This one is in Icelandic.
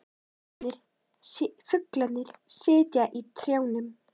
Fuglarnir sitja í trjánum.